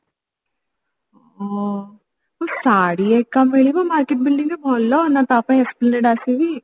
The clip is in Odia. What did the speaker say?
ହଁ ଶାଢ଼ୀ ହେକା ମିଳିବ market building ରେ ଭଲ ନ ତା ପାଇଁ esplanade ଆସିବି